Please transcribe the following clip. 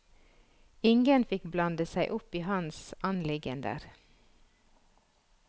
Ingen fikk blande seg opp i hans anliggender.